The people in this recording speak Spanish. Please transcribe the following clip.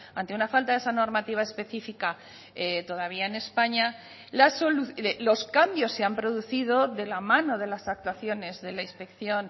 ante una falta de esa normativa específica todavía en españa los cambios se han producido de la mano de las actuaciones de la inspección